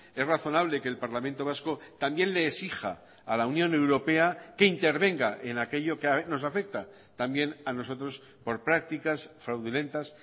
es razonable que el parlamento vasco también le exija a la unión europea que intervenga en aquello que nos afecta también a nosotros por prácticas fraudulentas